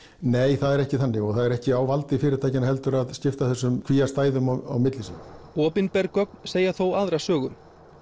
nei það er ekki þannig og það er ekki á valdi fyrirtækjanna heldur að skipta þessum kvíastæðum á milli sín opinber gögn segja þó aðra sögu